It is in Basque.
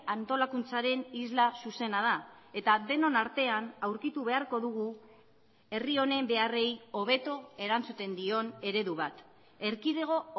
antolakuntzaren isla zuzena da eta denon artean aurkitu beharko dugu herri honen beharrei hobeto erantzuten dion eredu bat erkidego